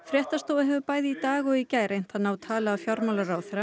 fréttastofa hefur bæði í dag og í gær reynt að ná tali af fjármálaráðherra